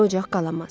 Belə ocaq qalamaz.